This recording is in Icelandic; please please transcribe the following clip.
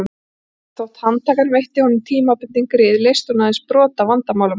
En þótt handtakan veitti honum tímabundin grið leysti hún aðeins brot af vandamálum hans.